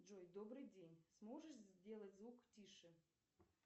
джой добрый день сможешь сделать звук тише